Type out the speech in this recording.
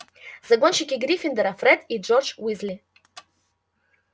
загонщики гриффиндора фред и джордж уизли